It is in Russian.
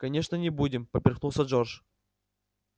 конечно не будем поперхнулся джордж